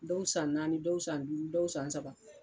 Dɔw san naani dɔw san duuru dɔw san saba